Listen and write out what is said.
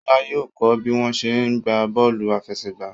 Ṣọlá yóò kó bí wọ́n ṣe ń gbá bọ́ọ̀lù àfẹsẹ̀gbá.